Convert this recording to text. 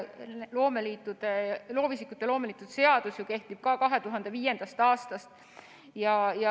Tõesti, loovisikute ja loomeliitude seadus kehtib 2005. aastast.